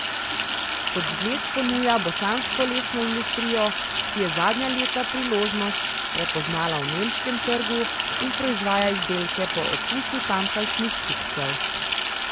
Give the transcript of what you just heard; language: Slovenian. Kot zgled ponuja bosansko lesno industrijo, ki je zadnja leta priložnost prepoznala v nemškem trgu in proizvaja izdelke po okusu tamkajšnjih kupcev.